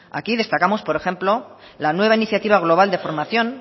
aquí destacamos por ejemplo la nueva iniciativa global de formación